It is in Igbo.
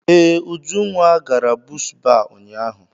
Ee, Ujunwa gara bush baa ụnyaahụ.